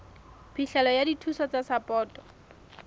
phihlelo ya dithuso tsa sapoto